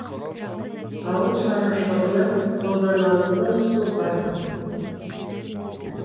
ауыл шаруашылығына қолданалатын су бар